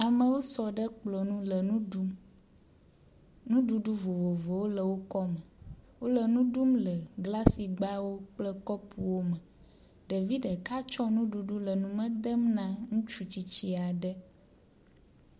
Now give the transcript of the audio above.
Amewo sɔ ɖe kplɔ nu le nu ɖum. Nuɖuɖu vovovowo le wo kɔme. Wo le nu ɖum le glasigbawo kple kɔpuwo me. Ɖevi ɖeka tsɔ nuɖuɖu le nume dem na ŋutsu tsitsi aɖe.